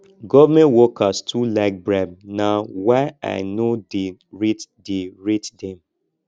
government workers too like bribe na why i no dey rate dey rate dem